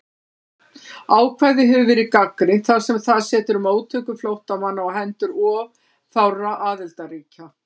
Ákvæðið hefur verið gagnrýnt þar sem það setur móttöku flóttamanna á hendur of fárra aðildarríkja.